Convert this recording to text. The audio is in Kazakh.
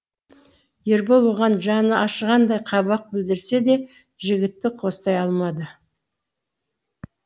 ербол оған жаны ашығандай қабақ білдірсе де жігітті қостай алмады